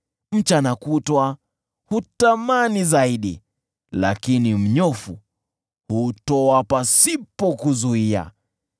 Mchana kutwa hutamani zaidi, lakini mnyofu hutoa pasipo kuzuia.